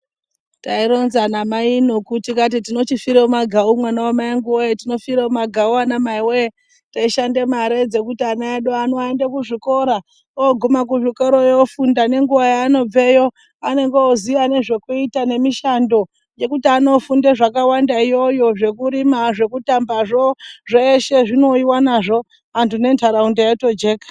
Tironza namai noku tikati tinochifire mumagau mwanangu voye. Inofire mumagau anamai voye teishanda mare kuti ana aende kuzvikora, oguma kuzvikoroyo ofunda nenguva yaanobveyo anenge oziya nezvekuita nemishando yekuti anofunda zvakawanda iyoyo. Zvekurima, zvekutambazvo zveshe zvinouyiva nazvo antu nentaraunda yotojeka.